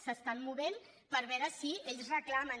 s’estan movent per veure si ells reclamen